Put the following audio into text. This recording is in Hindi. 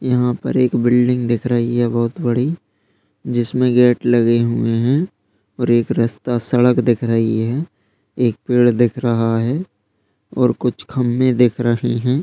यहाँ पर एक बिल्डिंग दिख रही है बहुत बड़ी जिसमें गेट लगे हुए हैं और एक रास्ता सड़क दिख रही है एक पेड़ दिख रहा है और कुछ खम्बे दिख रहे है।